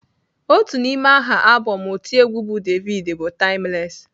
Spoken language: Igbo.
Otu n'ime aha abọm otiegwu bụ Davido bụ "Timeless."